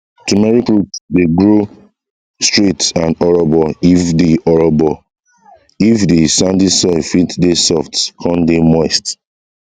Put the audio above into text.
turmeric root dey grow straight and orobo if de orobo if de sandy soil fit dey soft come dey moist